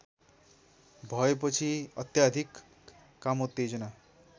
भएपछि अत्याधिक कामोत्तेजना